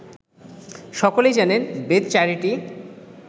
সকলেই জানেন বেদ চারিটি